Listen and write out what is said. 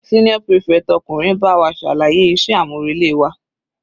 Senior prefect ọkùnrin bá wa ṣàlàyé iṣẹ́ àmúrelé wa.